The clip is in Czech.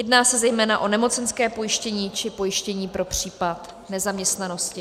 Jedná se zejména o nemocenské pojištění či pojištění pro případ nezaměstnanosti.